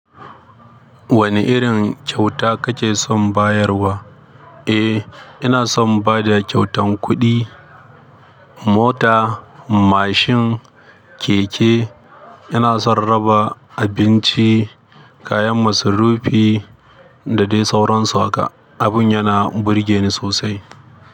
Wane irin kyauta kake son bayarwa? Eh, ina son ba da kyautan kuɗi, mota, mashin, keke. Ina son raba abinci, kayan masarufi da dai sauransu. Abin yana burge ni sosai.